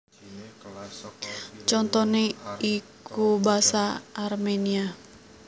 Contoné iku basa Arménia